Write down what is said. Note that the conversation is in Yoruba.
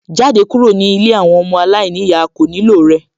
Jáde kúrò ní ilé àwọn ọmọ aláìníyàá, a kò nílò rẹ